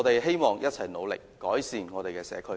希望我們一起努力，改善我們的社區。